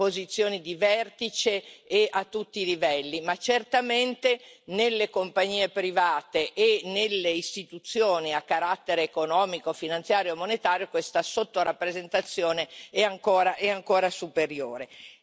posizioni di vertice e a tutti i livelli, ma certamente nelle compagnie private e nelle istituzioni a carattere economico, finanziario e monetario questa sottorappresentazione è ancora superiore.